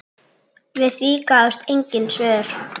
Við því gáfust engin svör.